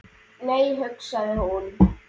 Nei, hugsaði hún.